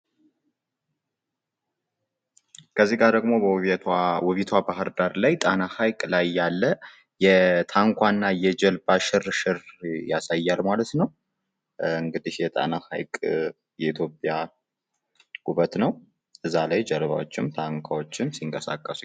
እዚህ ጋር ደግሞ ውቢቷ ባህር ዳር ጣና ሀይቅ አካባቢ ያለ የጀልባ እና የታንኳ ሽርሽር ያሳያሕ ማለት ነው ።እንግዲህ የጣና ሐይቅ የኢትዮጵያ ውበት ነው ።እዛ ላይ ጀልባዎችም ታንኳዎችም ሲንቀሳቀሱ ይታያሉ።